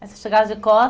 Você chegava de